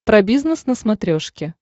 про бизнес на смотрешке